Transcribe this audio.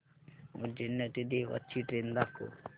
उज्जैन ते देवास ची ट्रेन दाखव